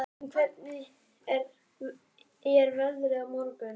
Jötunn, hvernig er veðrið á morgun?